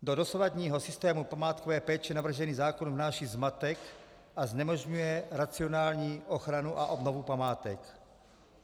Do dosavadního systému památkové péče navržený zákon vnáší zmatek a znemožňuje racionální ochranu a obnovu památek.